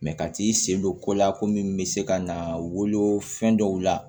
ka t'i sen don kolo la ko min bɛ se ka na wolo fɛn dɔw la